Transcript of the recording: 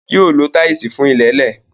Yóò lo táìsì fún ilẹ̀ẹ́lẹ̀.